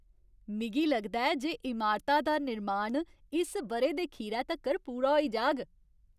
मिगी लगदा ऐ जे इमारता दा निर्माण इस ब'रे दे खीरै तक्कर पूरा होई जाह्ग।